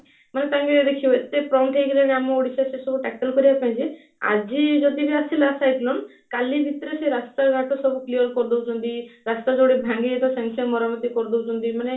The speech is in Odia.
ମାନେ ତାଙ୍କ ଦେଖିବେ ଏତେ prompt ହେଇଗଲେଣି ଆମ ଓଡ଼ିଶା ସେ ସବୁ tackle କରିବା ପାଇଁ ଯେ ଆଜି ଯଦିବି ଆସିଲା cyclone କାଲି ଭିତରେ ସେ ରାସ୍ତା ଘାଟ ସବୁ clear କରିଦଉବଛନ୍ତି ରାସ୍ତା ଯୋଉଠି ଭାଙ୍ଗି ଯାଇଥିବା ସାଙ୍ଗେ ସାଙ୍ଗେ ମରାମତି କରି ଡାଉଛନ୍ତି ମାନେ